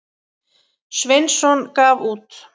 Sveinsson gaf út.